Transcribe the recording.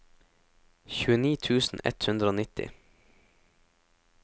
tjueni tusen ett hundre og nitti